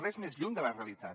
res més lluny de la realitat